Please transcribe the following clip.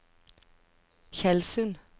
Tjeldsund